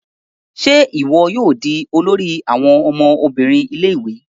Ṣe iwọ yóò di olori àwọn ọmọbìnrin ilé-ìwé?